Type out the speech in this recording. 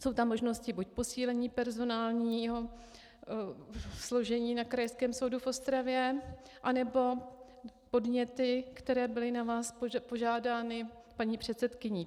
Jsou tam možnosti buď posílení personálního složení na Krajském soudu v Ostravě, anebo podněty, které byly na vás požádány paní předsedkyní.